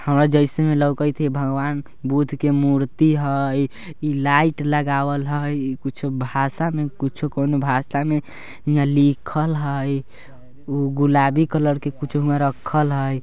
हां जैसे ही लउकत है भगवान बुद्ध के मूर्ति है| लाइट लगावल है कुछ भाषा कुछ कोनो भाषा में कुछ लिखल है गुलाबी कलर के कुछ में रखल है।